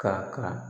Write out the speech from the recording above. Ka kan